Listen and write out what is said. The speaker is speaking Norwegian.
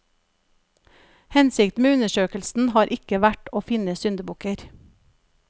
Hensikten med undersøkelsen har ikke vært å finne syndebukker.